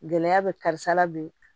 Gɛlɛya bɛ karisa la bi